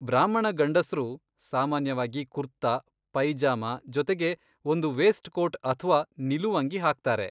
ಬ್ರಾಹ್ಮಣ ಗಂಡಸ್ರು ಸಾಮಾನ್ಯವಾಗಿ ಕುರ್ತಾ, ಪೈಜಾಮ ಜೊತೆಗೆ ಒಂದು ವೇಸ್ಟ್ ಕೋಟ್ ಅಥ್ವಾ ನಿಲುವಂಗಿ ಹಾಕ್ತಾರೆ.